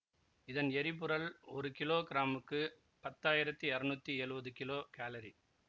இதன் எரிப்புறல் ஒரு கிலோ கிராமுக்கு பத்தாயிரத்தி இருநூத்தி எழுவது கிலோ காலரி